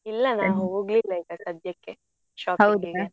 ಇಲ್ಲ ನಾನ್ ಹೋಗ್ಲಿಲ್ಲ ಈಗ ಸದ್ಯಕ್ಕೆ shopping ಗೆ